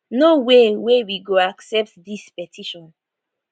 no way wey we go accept dis petition